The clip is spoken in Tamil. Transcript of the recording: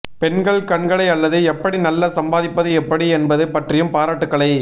பெண்கள் கண்களை அல்லது எப்படி நல்ல சம்பாதிப்பது எப்படி என்பது பற்றியும் பாராட்டுக்களை